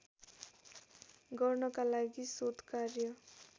गर्नका लागि शोधकार्य